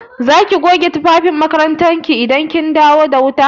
Za ki goge tufafin makarantar ki idan an dawo da wuta?